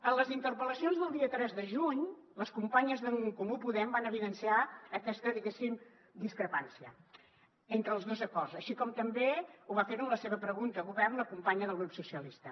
en les interpel·lacions del dia tres de juny les companyes d’en comú podem van evidenciar aquesta diguéssim discrepància entre els dos acords així com també va fer ho en la seva pregunta al govern la companya del grup socialistes